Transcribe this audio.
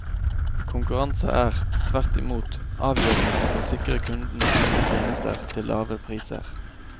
Konkurranse er, tvert imot, avgjørende for å sikre kundene gode tjenester til lave priser.